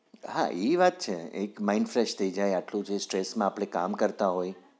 હા ઈ વાત છે એક mind fresh થયી જાય આટલું જ stress માં આપણે કામ કરતા હોઈ